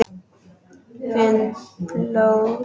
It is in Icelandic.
Finn blóð.